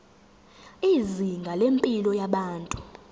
izinga lempilo yabantu